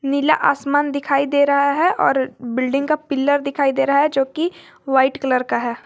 नीला आसमान दिखाई दे रहा है और बिल्डिंग का पिलर दिखाई दे रहा है जो की वाइट कलर का है।